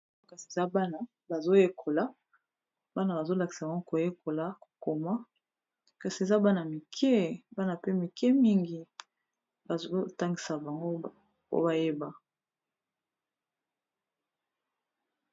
O kasi eza bana bazoyekola bana bazolakisa bango koyekola kokoma kasi eza bana mike bana pe mike mingi bazotangisa bango po bayeba